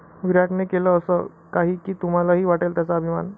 विराटने केलं असं काही की तुम्हालाही वाटेल त्याचा अभिमान!